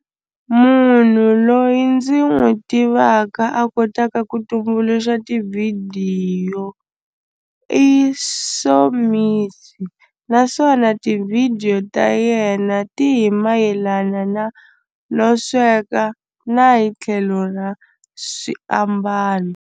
Munhu loyi ndzi n'wi tivaka a kotaka ku tumbuluxa tivhidiyo i Somizi naswona tivhidiyo ta yena ti hi mayelana na no sweka na hi tlhelo ra swiambalo.